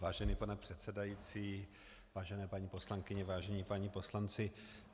Vážený pane předsedající, vážené paní poslankyně, vážení páni poslanci.